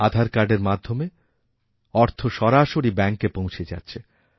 আধার কার্ডের মাধ্যমে অর্থ সরাসরি ব্যাঙ্কে পৌঁছে যাচ্ছে